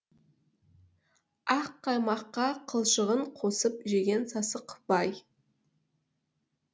ақ қаймаққа қылшығын қосып жеген сасық бай